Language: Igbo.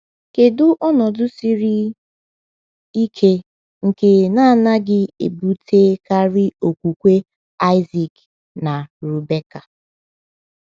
Kedu ọnọdụ siri ike nke anaghị ebutekarị okwukwe Isaac na Rebekah?